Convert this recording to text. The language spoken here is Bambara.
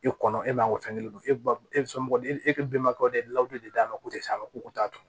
E kɔnɔ e m'an ka fɛn kelen don e ba e bɛ somɔgɔ de e bɛnbakɛw de ye layidu de d'a ma k'o tɛ se a ma ko t'a to